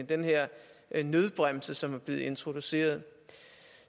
den her nødbremse som er blevet introduceret